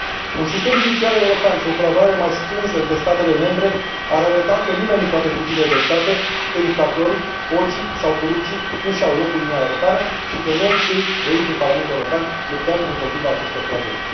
Un sistem judiciar european și o colaborare mai strânsă între statele membre ar arăta că nimeni nu poate fugi de dreptate și că infractorii, hoții sau corupții nu își au locul în Uniunea Europeană și că noi, cei de aici din Parlamentul European, luptăm împotriva acestor flagele.